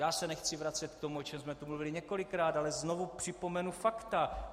Já se nechci vracet k tomu, o čem jsme tu mluvili několikrát, ale znovu připomenu fakta.